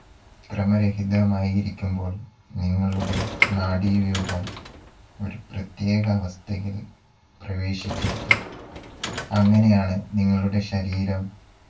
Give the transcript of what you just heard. ക്രമരഹിതമായി ഇരിക്കുമ്പോൾ നിങ്ങളുടെ നാഡീവ്യൂഹം ഒരു പ്രതേക അവസ്ഥയിൽ പ്രവേശിച്ചിരിക്കാം. അങ്ങനെയാണ് നിങ്ങളുടെ ശരീരം